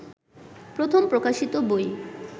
প্রথম প্রকাশিত বই